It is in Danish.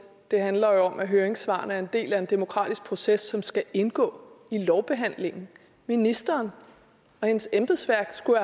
det handler om at høringssvarene er en del af en demokratisk proces som skal indgå i lovbehandlingen ministeren og hendes embedsværk skulle